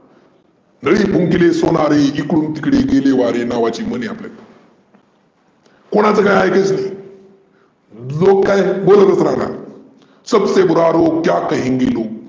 नळी फुंकरी सोनारी एकडून तिकडून गेले वारे नावाची म्हण आहे आपल्याकडे. कोणाचं काही ऐकायचं नाही. लोक काय बोलतचं राहणार सबसे बुरा लोग क्या कहेंगे लोग.